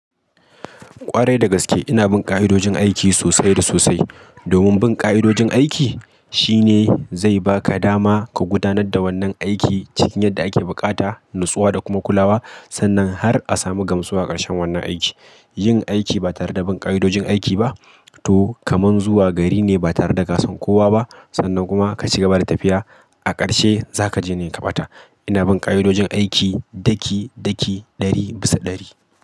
Ƙwarai da gaske ina bin ƙa'idojin aiki sosai da sosai. Domin bin ƙa'idojin aiki shine zai baka dama ka gudanar da wannan aiki cikin yadda ake buƙata, natsuwa da kuma kulawa sannan har a samu gamsuwar ƙarshen wannan aiki. Yin aiki ba tare da bin ƙa'idojin aiki ba, to kaman zuwa gari ne ba tare da gasan kowa ba sannan kuma ka cigaba da tafiya, a ƙarshe za ka je ne ka ɓata. Ina bin ƙa'idojin aiki daki-daki, ɗari bisa ɗari.